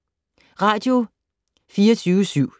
Radio24syv